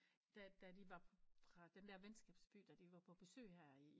Da da de var fra den der venskabsby da vi var på besøg her i